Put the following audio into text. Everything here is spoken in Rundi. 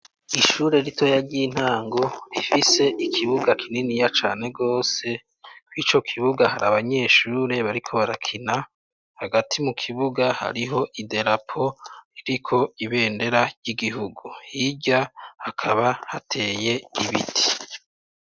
Ishure ritoya ry'intango rifise ikibuga kiniya cane gose. Kw'ico kibuga abanyeshure bariko barakina, hagati mu kibuga hariho idarapo ririko ibendera ry'igihugu. Hirya hakaba hateye ibiti.